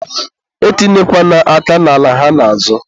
e tinyekwana aka n'ala ha na-azọ.